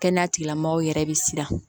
Kɛnɛya tigilamɔgɔw yɛrɛ bɛ siran